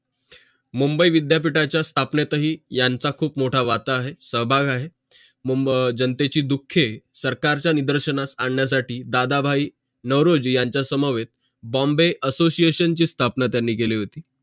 मुंबई विद्यापीठाच्या स्थापनेतही यांचा खुप मोठा वाटा आहे सहभाग आहे जनतेची दुःखे सरकारचा निदर्शनास आण्यासाठी दादाभाई नारोजी याचा समवेत bombay association ची स्थापना त्यांनी केली होती